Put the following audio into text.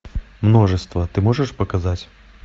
множество ты можешь показать